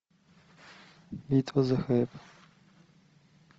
битва за хайп